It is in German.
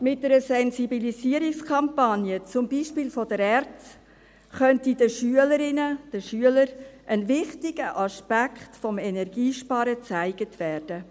Mit einer Sensibilisierungskampagne, zum Beispiel seitens der ERZ, könnte den Schülerinnen, den Schülern ein wichtiger Aspekt des Energiesparens aufgezeigt werden.